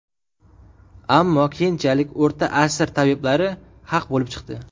Ammo keyinchalik o‘rta asr tabiblari haq bo‘lib chiqdi.